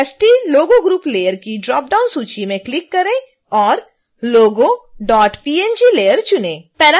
फिर stlogo group layer की dropdown सूची में क्लिक करें और logopng layer चुनें